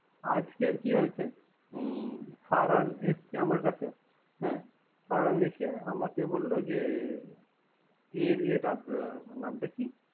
আজকে কি হয়েছে? হুম ফরহার এসছে আমার কাছে। হ্যা ফারহার এসে আমাকে বলল যে এর ইয়াটা ওর নামটা কি।